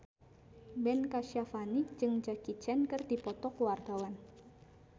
Ben Kasyafani jeung Jackie Chan keur dipoto ku wartawan